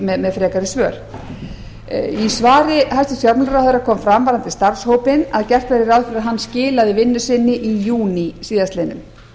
fjármálaráðherra með frekari svör í svari hæstvirts fjármálaráðherra kom fram varðandi starfshópinn að gert væri ráð fyrir að hann skilaði vinnu sinni í júní síðastliðinn